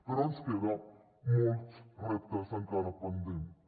però ens queden molts reptes encara pendents